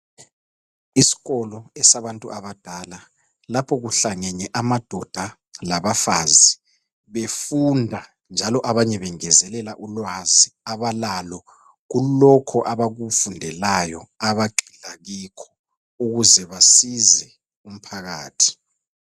Isikolo esabantu abadala, lapho kuhlangene amadoda labafazi, befunda njalo abanye bengezelela ulwazi abalalo kulokho abakufundelayo, abagxila kikho ukuze basize umphakathi.